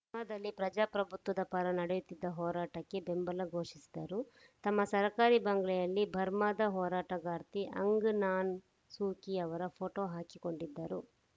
ಬರ್ಮಾದಲ್ಲಿ ಪ್ರಜಾಪ್ರಭುತ್ವದ ಪರ ನಡೆಯುತ್ತಿದ್ದ ಹೋರಾಟಕ್ಕೆ ಬೆಂಬಲ ಘೋಷಿಸಿದರು ತಮ್ಮ ಸರ್ಕಾರಿ ಬಂಗಲೆಯಲ್ಲಿ ಬರ್ಮಾದ ಹೋರಾಟಗಾರ್ತಿ ಆ್ಯಂಗ್‌ ಸಾನ್‌ ಸೂಕಿ ಅವರ ಫೋಟೋ ಹಾಕಿಕೊಂಡಿದ್ದರು